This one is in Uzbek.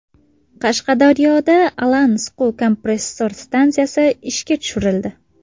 Qashqadaryoda Alan siquv kompressor stansiyasi ishga tushirildi.